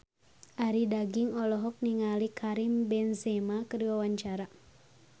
Arie Daginks olohok ningali Karim Benzema keur diwawancara